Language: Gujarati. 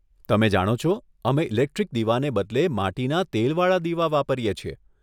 તમે જાણો છો, અમે ઇલેક્ટ્રિક દીવાને બદલે માટીના તેલવાળા દીવા વાપરીએ છીએ.